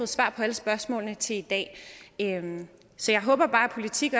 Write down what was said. svar på alle spørgsmålene til i dag så jeg håber bare at politik